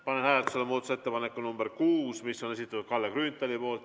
Panen hääletusele muudatusettepaneku nr 6, mis on Kalle Grünthali esitatud.